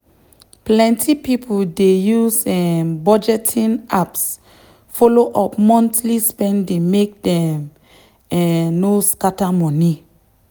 plenty people dey use um budgeting apps follow up monthly spending make dem um no scatter money.